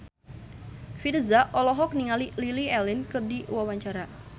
Virzha olohok ningali Lily Allen keur diwawancara